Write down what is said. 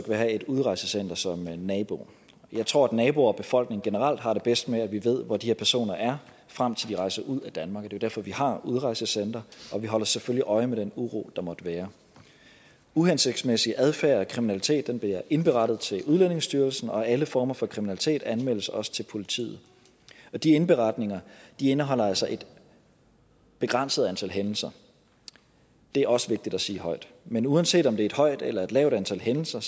at have et udrejsecenter som nabo jeg tror at naboer og befolkning generelt har det bedst med at vi ved hvor de her personer er frem til de rejser ud af danmark det er derfor vi har udrejsecentre og vi holder selvfølgelig øje med den uro der måtte være uhensigtsmæssig adfærd og kriminalitet bliver indberettet til udlændingestyrelsen og alle former for kriminalitet anmeldes også til politiet og de indberetninger indeholder altså et begrænset antal hændelser det er også vigtigt at sige højt men uanset om det er et højt eller et lavt antal hændelser